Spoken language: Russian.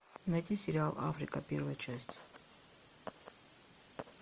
найти сериал африка первая часть